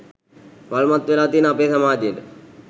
වල්මත් වෙලා තියෙන අපේ සමාජයට